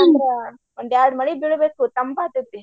ಇಲ್ಲ ಅಂದ್ರ ಒಂದ್ ಎರಡ್ ಮಳಿ ಬೀಳ್ಬೇಕು ತಂಪ ಆಗ್ತೆತಿ.